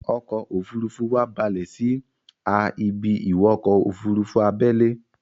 ọkọ̀-òfurufú wa balè sí a ibi-ìwọkọ̀-òfurufú abẹ́lé